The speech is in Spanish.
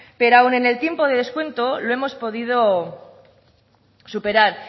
pero aún en el tiempo de descuento lo hemos podido superar